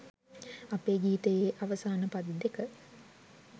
අපේ ගීතයේ අවසාන පද දෙක